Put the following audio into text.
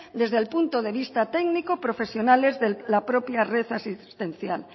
desde el punto de vista técnico profesionales de la propia red asistencial